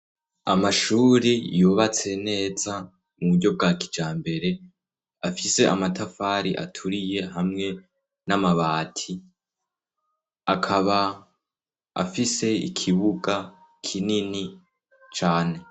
Amashuri yubatse neza mu buryo bwa kijambere afise amatafari aturiye hamwe n'amabati, akaba afise ikibuga kinini cane.